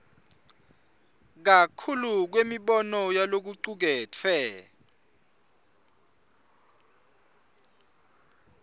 kakhulu kwemibono yalokucuketfwe